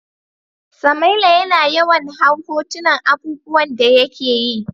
Samaila ya na yawan hau hotunan abubuwan da ya ke yi.